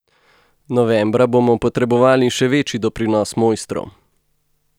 Novembra bomo potrebovali še večji doprinos mojstrov.